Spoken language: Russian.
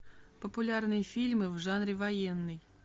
популярные фильмы в жанре военный